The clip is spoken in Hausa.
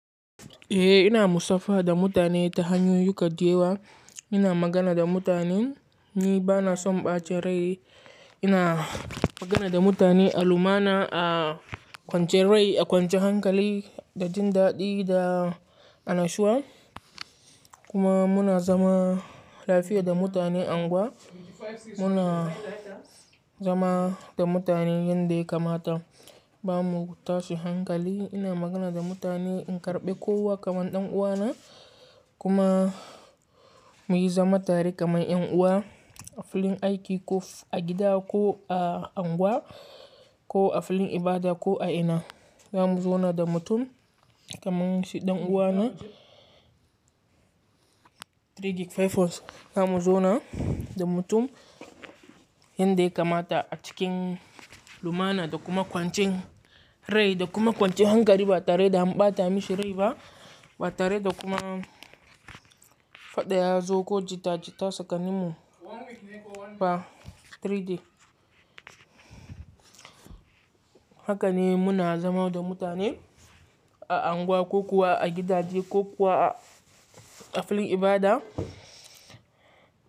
Eh ina musafaha da mutane ta hanyoyin ko da yewa. Ina magana da mutanen, ni bana son ɓace rai. Ina magana da mutane a lumana, a kwance rai, a kwance hankali da jin daɗi da annashuwa. Kuma muna zama lafiya da mutane angwa. Muna zama da mutane yanda kamata. Ba mu tashi hankali. Ina magana da mutane in karɓe kowa kamar ɗan uwana. Kuma muyi zaman tare kamar ƴan uwa a filin aiki ko a gida ko a angwa ko a filin ibada ko a ina. Zamu zauna da mutum kamar shi ɗan uwana. Three gig five hours. Zamu zauna da mutum yanda kamata a cikin lumana da kuma kwancin rai da kuma kwancin hankali ba tare da mu ɓata mashi rai ba. Ba tare da kuma faɗa yazo ko jita jita tsakaninmu ba. Three D. Haka ne muna zama da mutane a angwa ko kuwa a gidaje ko kuwa a filin ibada.